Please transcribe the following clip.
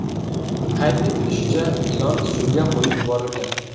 Qayd etilishicha, ilon suvga qo‘yib yuborilgan.